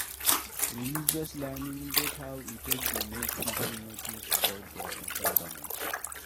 Religious learning get how e take dey make pipo know things about their environment